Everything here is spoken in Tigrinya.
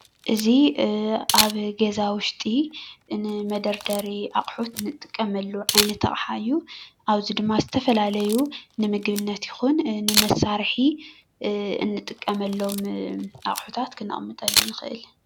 እዚ ኣብ ገዛ ውሽጢ ንመደርደሪ ኣቑሑት እንጥቀመሉ ዓይነት ኣቕሓ እዩ። ኣብዚ ድማ ዝተፈላለዩ ንምግብነት ይኹን ንመሳርሒ እንጥቀመሎም ኣቑሕታት ክነቕመጠሎም ንኽእል።